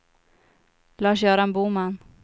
Lars-Göran Boman